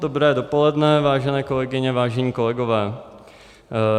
Dobré dopoledne, vážené kolegyně, vážení kolegové.